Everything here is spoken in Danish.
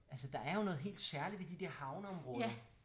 Altså der er jo noget helt særligt ved de dér havneområder